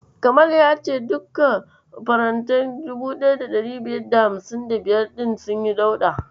Kamal ya ce duka farantai 1555 ɗin sunyi dauɗa.